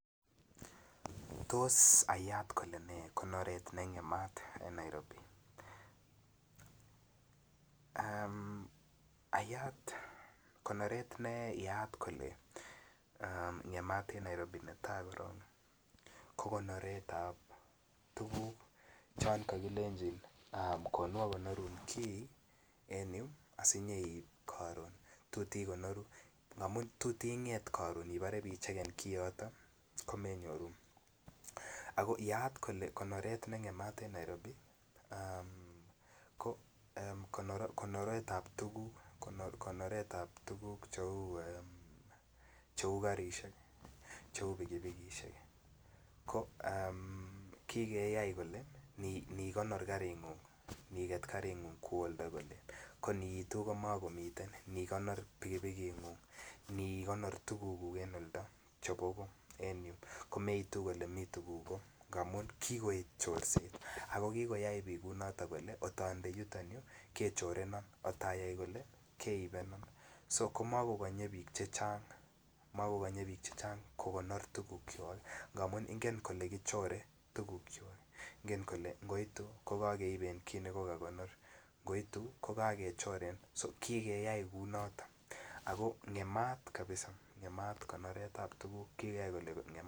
Tos ayat kole ne konoret nengemat en Nairobi ayat konoret ne ngemat en Nairobi netai korok ko konoret ab tuguk chon kokilenjin konu agonorun kii en yu asi inyeib koron angamun tot Inget koron Ibore ibechegen kioto ko me nyoru ago naat kole konoret ne ngemat en Nairobi ko konoret ab tuguk cheu karisiek Cheu pikipikisiek ko ki keyai kole Ani konor karingung iniket karingung kwo olito ko aniitu komakomiten ko Ani konor pikipiki ini konor tugukuk en oldo chebo goo komeitu komii tuguk amun kikoet chorset ago kikoyai bik Kole angot onde yuton yu kechorenon angot ayai kole keibenon ko makokonye bik chechang kokonor tugukwak ngamun ingen kole kichore tugukwak ingen kole angoitu kokokeiben kit ne ko kakonor angoitu ko kakechoren ki keyai kounoton ago ngemat kabisa ngemat konoret ab tuguk ki keyai kole ngemat